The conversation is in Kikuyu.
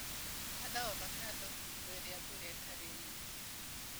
Handa ovacando hingo ya mbura ĩtarĩ nyingĩ.